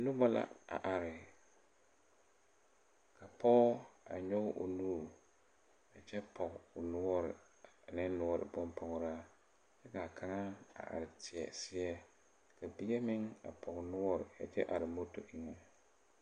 Nobɔ la a are ka pɔge a nyoge o nuure a kyɛ pɔge o noɔre ane noɔre bonpɔgraa kyɛ kaa kaŋa a are tēɛ seɛ ka mine meŋ a pɔg noɔre a kyɛ are moto eŋɛ.